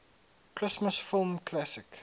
christmas film classic